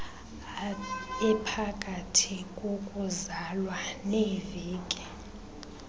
ephakathi kokuzalwa neeveki